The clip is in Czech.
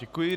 Děkuji.